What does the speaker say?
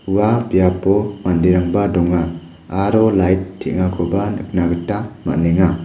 ua biapo manderangba donga aro lait teng·akoba nikna gita man·enga.